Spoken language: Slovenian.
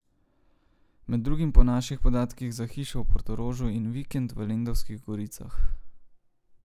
Med drugim po naših podatkih za hišo v Portorožu in vikend v Lendavskih goricah.